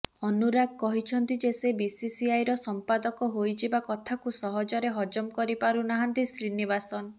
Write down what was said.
ଅନୁରାଗ କହିଛନ୍ତି ଯେ ସେ ବିସିସିଆଇର ସଂପାଦକ ହୋଇଯିବା କଥାକୁ ସହଜରେ ହଜମ କରିପାରୁ ନାହାନ୍ତି ଶ୍ରୀନିବାସନ